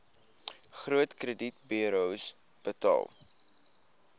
groot kredietburos betaal